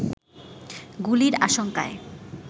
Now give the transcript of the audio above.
গুলির আশঙ্কায়